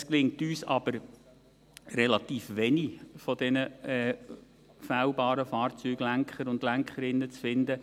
Es gelingt uns aber nur relativ wenig der fehlbaren Fahrzeuglenker und Fahrzeuglenkerinnen zu finden.